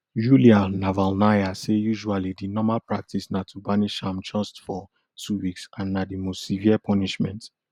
yulia navalnaya say usually di normal practice na to banish am just for two weeks and na di most severe punishment